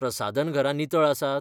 प्रसाधनघरां नितळ आसात?